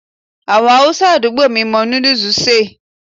Àwọn Haúsá àdúgbò mi mọ núdù ṣe è.